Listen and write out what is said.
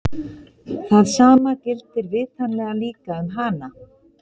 Það sama gildir vitanlega líka um hana!